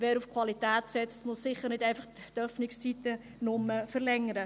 Wer auf Qualität setzt, muss sicher nicht nur die Öffnungszeiten verlängern.